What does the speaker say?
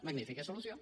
magnífica solució